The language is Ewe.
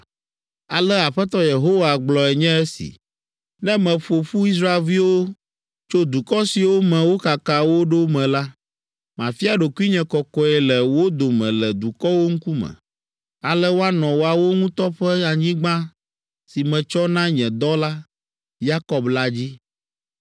“ ‘Ale Aƒetɔ Yehowa gblɔe nye esi: Ne meƒo ƒu Israelviwo tso dukɔ siwo me wokaka wo ɖo me la, mafia ɖokuinye kɔkɔe le wo dome le dukɔwo ŋkume. Ale woanɔ woawo ŋutɔ ƒe anyigba si metsɔ na nye dɔla, Yakob la dzi.